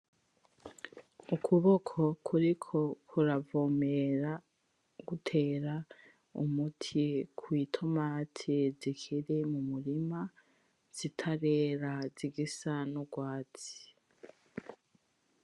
Ukubuko kuriko kuravomera gutera umuti kwitomati zikiri mumurima zitarera zigisa nurwatsi.